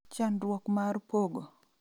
Chandruok mar pogo